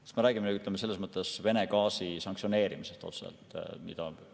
Kas me räägime nüüd, ütleme, Venemaa sanktsioneerimisest otseselt?